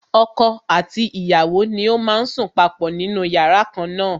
Ọkọ àti ìyàwó ni ó má ń sùn papọ̀ nínú yàrá kan na.